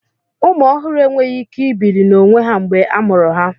Ụmụ ọhụrụ enweghị ike ibili n'onwe ha mgbe a mụrụ ha.